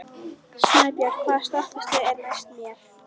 Snæbjört, hvaða stoppistöð er næst mér?